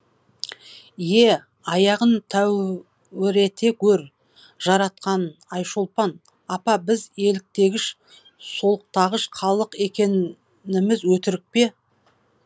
е аяғын тәуірете гөр жаратқан н айшолпан апа біз еліктегіш солықтағыш халық екеніміз өтірік пе